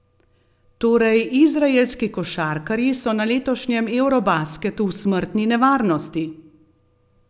Torej izraelski košarkarji so na letošnjem eurobasketu v smrtni nevarnosti!